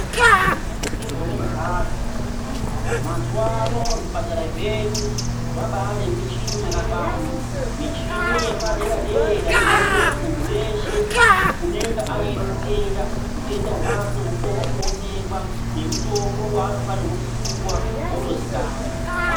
Zvimweni ngezvimweni hazvo mazuvano zvipatara zvedu zvabaa nemichini yakakwana. Michini yepade-radera inoite kuti muntu weshe unenge aine utenda, hutenda hwakwe hukone kuonekwa nemitombo yaanofanirwa kupuwa wotozikanwa.